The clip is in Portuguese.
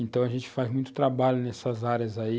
Então a gente faz muito trabalho nessas áreas aí.